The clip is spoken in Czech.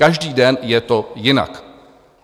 Každý den je to jinak.